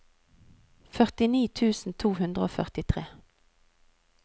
førtini tusen to hundre og førtitre